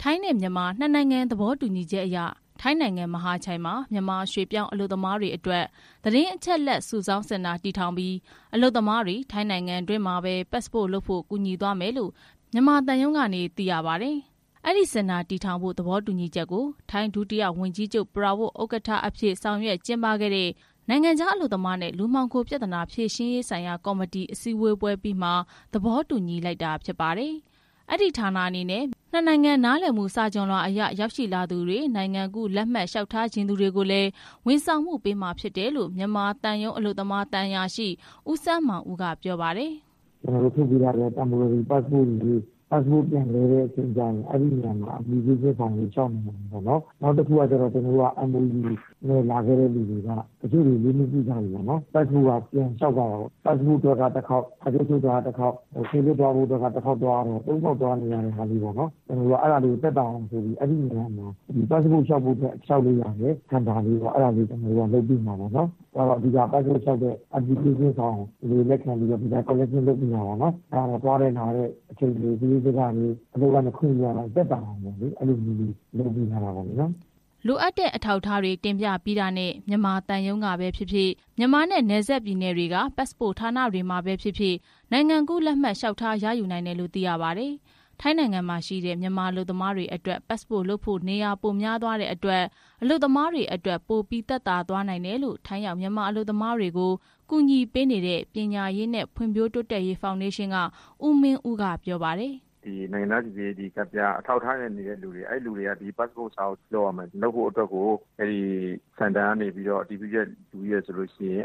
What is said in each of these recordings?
ထိုင်းနဲ့ မြန်မာ နှစ်နိုင်ငံ သဘောတူညီချက်အရ ထိုင်းနိုင်ငံ မဟာချိုင်မှာ မြန်မာရွှေ့ပြောင်းအလုပ်သမားအတွက် သတင်းအချက်လက်စုဆောင်းစင်တာ တည်ထောင်ပြီး အလုပ်သမားတွေ ထိုင်းနိုင်ငံတွင်းမှာပဲ ပတ်စပို့လုပ်ဖို့ ကူညီသွားမယ်လို့ မြန်မာသံရုံးကနေ သိရပါတယ်။ အဲဒီစင်တာတည်ထောင်ဖို့ သဘောတူညီချက်ကို ထိုင်းဒုတိယဝန်ကြီးချုပ် ပရာဝစ် ဥက္ကဋ္ဌအဖြစ် ဆောင်ရွက် ကျင်းပခဲ့တဲ့ နိုင်ငံခြားအလုပ်သမားနဲ့ လူမှောင်ခိုပြဿနာ ဖြေရှင်းရေးဆိုင်ရာကော်မတီ အစည်းအဝေးအပြီးမှာ သဘောတူညီခဲ့တာဖြစ်ပါတယ်။ အဲဒီဌာနအနေနဲ့ နှစ်နိုင်ငံနားလည်မှု စာချွန်လွှာအရ ရောက်ရှိလာသူတွေ နိုင်ငံကူးလက်မှတ်လျှောက် ထားလိုသူတွေကိုလည်း ဝန်ဆောင်မှုပေးမှာ ဖြစ်တယ်လို့လည်း မြန်မာသံရုံးအလုပ်သမား သံအရာရှိ ဦးစန်းမောင်ဦးက ပြောပါတယ်။ "ကျနော်တို့ ထုတ်ပေးထားတဲ့ ယာယီပတ်စ်စပို့တွေကို ပတ်စ်စပို့ ပြန်လဲတဲ့အချိန်ကျရင် အဲဒီနေရာမှာ လျှောက်လွှာတွေ ဖြည့်ရမယ်။ နောက်တခုက MOU နဲ့ လာခဲ့တဲ့လူတွေက တချို့တွေ လေးနှစ်ပြည့်သွားပြီ။ ပတ်စ်စပို့က ပြန်လျှောက်ရတယ်။ ပတ်စ်စပို့အတွက်က တခေါက်၊ စာချုပ်ချုပ်တာကတခေါက် ပေါင်း ၃ခေါက် သွားနေရတော့ အဲဒါတွေကို သက်သာအောင်ဆိုပြီးလုပ်တာ။ သွားတဲ့လာတဲ့စရိတ်စကတွေ အချိန်တွေ အလုပ်ကနေ ခွင့်ယူရတာ သက်သာအောင် အဲဒီနေရာမှာ လုပ်ပေးတာ" လိုအပ်တဲ့ အထောက်အထားတွေ တင်ပြပြီးတာနဲ့ မြန်မာသံရုံးကပဲဖြစ်ဖြစ်၊ မြန်မာနဲ့ နယ်စပ်ပြည်နယ်တွေက ပတ်စပို့ဌာနတွေမှာဖြစ်ဖြစ် နိုင်ငံကူးလက်မှတ် လျှောက်ထားရယူနိုင်တယ်လို့ သိရပါတယ်။ ထိုင်းနိုင်ငံမှာရှိတဲ့ မြန်မာအလုပ်သမားတွေအတွက် ပတ်စပို့လုပ်ဖို့ နေရာပိုများသွားတဲ့အတွက် အလုပ်သမားတွေအတွက် ပိုပြီးသက်သာသွားနိုင်တယ်လို့ ထိုင်းရောက် မြန်မာအလုပ်သမားတွေကို ကူညီပေးနေတဲ့ ပညာရေးနှင့် ဖွံ့ဖြိုးတိုးတက်ရေးဖောင်ဒေးရှင်းက ဦးမင်းဦး က ပြောပါတယ်။ "ဒီနိုင်ငံသားစိစစ်ရေးကတ်ပြား အထောက်အထားနဲ့နေတဲ့လူတွေက ပတ်စပို့စာအုပ်လုပ်ရမယ်၊ လုပ်ဖို့အတွက် အဲဒီစင်တာကနေ အတည်ပြုချက်ယူပြီး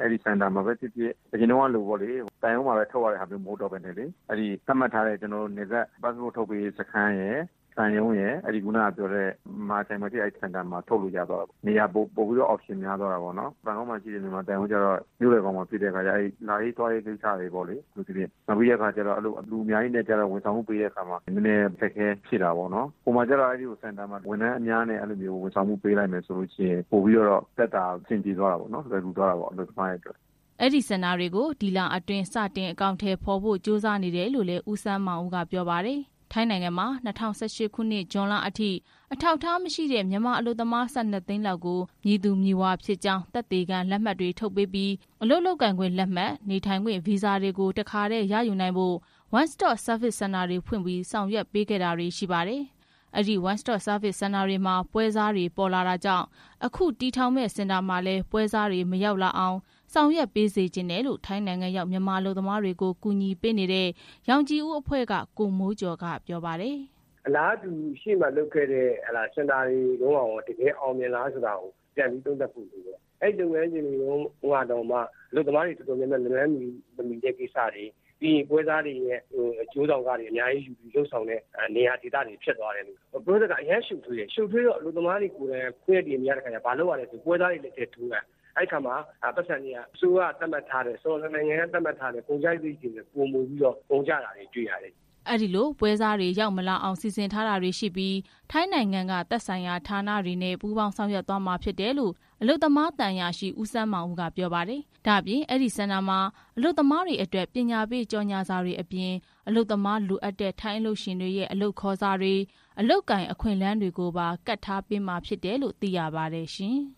အဲဒီစင်တာမှာပဲဖြစ်ဖြစ် အရင်ကလို သံရုံးမှာပဲ ထုတ်ရတာမဟုတ်ဘဲ သတ်မှတ်ထားတဲ့ နယ်စပ်ပတ်စပို့ ထုတ်ပေးရေးစခန်းရယ် သံရုံးရယ် မဟာချိုင်မှာရှိတဲ့ အဲဒီစင်တာရယ်မှာ ထုတ်လို့ရတာပေါ့။ နေရာပိုများသွားတာပေါ့။ အထူးသဖြင့် လူအများကြီးနဲ့ကျတော့ ဝန်ဆောင်မှုပေးတဲ့အခါမှာ နည်းနည်းအခက်အခဲရှိတာပေါ့။ စင်တာမှာကျတော့ ဝန်ထမ်းအများကြီးနဲ့ ဝန်ဆောင်မှုပေးလိုက်မယ်ဆိုရင် သက်သာအဆင်ပြေပြီး အလုပ်သမားတွေအတွက် လွယ်ကူသွားတာပေါ့" အဲဒီစင်တာကို ဒီလအတွင်း စတင်အကောင်ထည်ဖော်ဖို့ ကြိုးစားနေတယ်လို့လည်း ဦးစန်းမောင်ဦး က ပြောပါတယ်။ ထိုင်းနိုင်ငံမှာ၂၀၁၈ ခုနှစ် ဇွန်လအထိ အထောက်အထားမရှိတဲ့ မြန်မာအလုပ်သမား ၁၂ သိန်းလောက်ကို မည်သူမည်ဝါဖြစ်ကြောင်း သက်သေခံလက်မှတ်တွေကို ထုတ်ပေးပြီး အလုပ်လုပ်ကိုင်ခွင့်လက်မှတ်၊ နေထိုင်ခွင့်ဗီဇာတွေကို တခါတည်းရယူနိုင်ဖို့ One Stop Service Center တွေဖွင့်ပြီး ဆောင်ရွက်ခဲ့ပေးတာတွေ ရှိပါတယ်။ အဲဒီ One Stop Service Centre တွေမှာ ပွဲစားတွေပေါ်လာတာကြောင့် အခုတည်ထောင်မယ့် စင်တာမှာလည်း ပွဲစားတွေ မရောက်လာအောင် ဆောင်ရွက်ပေးစေချင်တယ်လို့ ထိုင်းနိုင်ငံရောက် မြန်မာအလုပ်သမားတွေကို ကူညီပေးနေတဲ့ ရောင်ခြည်ဦးအဖွဲ့က ကိုမိုးကျော် က ပြောပါတယ်။ "အလားတူ ရှေ့မှာလုပ်ခဲ့တဲ့ စင်တာတွေတုန်းကရော တကယ်အောင်မြင်လားဆိုတာ သုံးသပ်ဖို့လိုတယ်။ အဲဒီလုပ်ငန်းစဉ်တွေတုန်းက အလုပ်သမားတွေတော်တော်များများ လက်လှမ်းမမီဘူး၊ ပွဲစားတွေရဲ့ အကျိုးဆောင်ခတွေ အများကြီးယူပြီး လုပ်တဲ့နေရာဒေသတွေ ဖြစ်သွားတယ်၊ အဆင့်တွေအရမ်းများပြီး ရှုပ်ထွေးတော့ အလုပ်သမားတွေကိုယ်တိုင်က ပွဲစားတွေလက်ထဲ ထိုးပေးရတယ်။ အဲတော့နှစ်နိုင်ငံ အစိုးရသတ်မှတ်ထားတဲ့ ကုန်ကျစရိတ်တွေထက် ပိုကုန်ကျသွားတယ်။" အဲဒီလို ပွဲစားတွေ ရောက်မလာအောင် စီစဉ်ထားတာတွေရှိပြီး ထိုင်းနိုင်ငံက သက်ဆိုင်ရာဌာနတွေနဲ့ ပူးပေါင်းဆောင်ရွက်မှာဖြစ်တယ်လို့လည်း မြန်မာနိုင်ငံ အလုပ်သမားသံအရာရှိ ဦးစန်းမောင်ဦးက ပြောပါတယ်။ ဒါ့အပြင် အဲဒီစင်တာမှာ အလုပ်သမားတွေအတွက် ပညာပေးကြော်ငြာစာတွေအပြင် အလုပ်သမားလိုအပ်တဲ့ ထိုင်းအလုပ်ရှင်တွေရဲ့ အလုပ်ခေါ်စာတွေ၊ အလုပ်ကိုင် အခွင့်အလမ်းတွေကိုပါ ကပ်ထားပေးမှာဖြစ်တယ်လို့ သိရပါတယ်ရှင်။